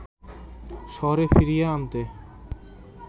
শহরে ফিরিয়ে আনতে